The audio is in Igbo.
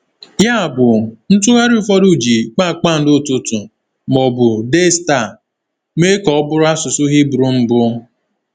Yabụ, ntụgharị ụfọdụ ji “kpakpando ụtụtụ” ma ọ bụ “Daystar” mee ka ọ bụrụ asụsụ Hibru mbụ.